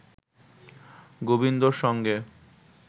গোবিন্দর সঙ্গে